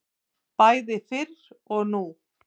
Bæði fyrr og nú.